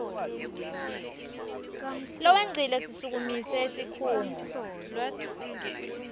lowengcile sisukumise sikhungo